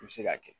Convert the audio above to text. I bɛ se k'a kɛ